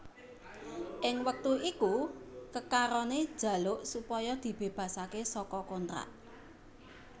Ing wektu iku kekarone jaluk supaya dibebasake saka kontrak